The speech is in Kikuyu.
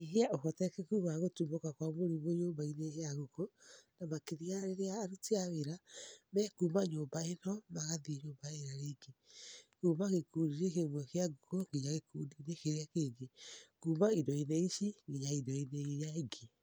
Nyihia ũhoteku wa gũtumũka kwa mũrimũ nyũmba-inĩ ya ngũkũ na makĩria rĩrĩa aruti a wĩra me kuma nyũmba ĩno magathiĩ ĩrĩa ĩngĩ, kuma gĩkundi-inĩ kĩmwe kia ngũkũ nyinya gĩkundi-inĩ kĩrĩa kĩngĩ, kuma indo-inĩ ici nginya indo-inĩ iria ingĩ.